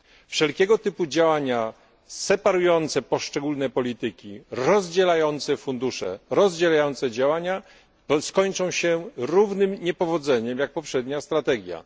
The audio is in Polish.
Wszelkiego typu działania separujące poszczególne polityki, rozdzielające fundusze, rozdzielające działania skończą się takim samym niepowodzeniem, jak poprzednia strategia.